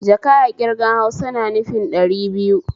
Jaka a ƙirgan Hausa na nufin ɗari biyu